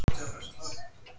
Frekar fyndið!